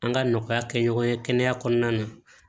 An ka nɔgɔya kɛ ɲɔgɔn ye kɛnɛya kɔnɔna na